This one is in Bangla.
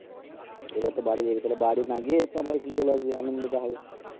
এবার তো বাড়ি যাবি তালে বাড়ি না গিয়ে একটু আমাদের এখানে চলে আসবি আনন্দটা হবে